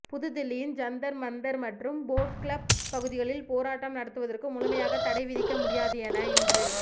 புதுதில்லியின் ஜந்தர் மந்தர் மற்றும் boat club பகுதிகளில் போராட்டம் நடத்துவதற்கு முழுமையாக தடை விதிக்க முடியாது என இன்று